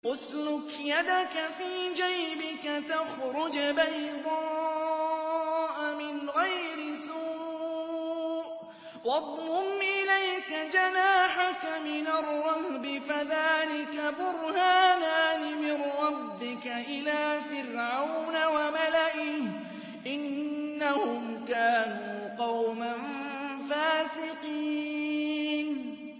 اسْلُكْ يَدَكَ فِي جَيْبِكَ تَخْرُجْ بَيْضَاءَ مِنْ غَيْرِ سُوءٍ وَاضْمُمْ إِلَيْكَ جَنَاحَكَ مِنَ الرَّهْبِ ۖ فَذَانِكَ بُرْهَانَانِ مِن رَّبِّكَ إِلَىٰ فِرْعَوْنَ وَمَلَئِهِ ۚ إِنَّهُمْ كَانُوا قَوْمًا فَاسِقِينَ